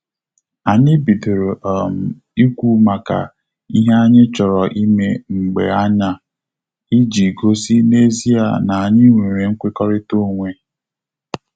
Anyị bidoro um ikwu maka ihe anyị chọrọ ime mgbe anya, iji gosi na ezia na anyị nwere nkwekọrịta onwe